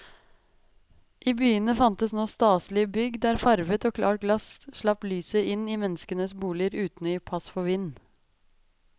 I byene fantes nå staselige bygg der farvet og klart glass slapp lyset inn i menneskenes boliger uten å gi pass for vind.